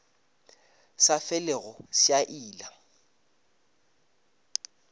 sa felego se a ila